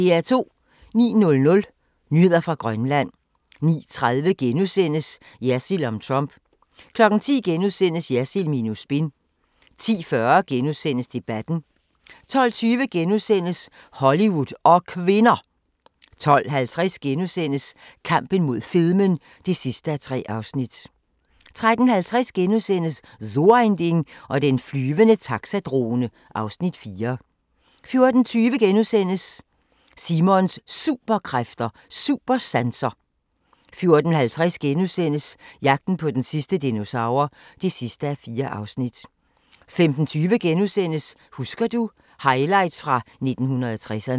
09:00: Nyheder fra Grønland 09:30: Jersild om Trump * 10:00: Jersild minus spin * 10:45: Debatten * 12:20: Hollywood og kvinder! * 12:50: Kampen mod fedmen (3:3)* 13:50: So ein Ding og den flyvende taxadrone (Afs. 4)* 14:20: Simons Superkræfter: Supersanser * 14:50: Jagten på den sidste dinosaur (4:4)* 15:20: Husker du – Highlights fra 1960'erne *